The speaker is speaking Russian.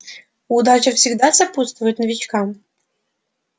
удача всегда сопутствует новичкам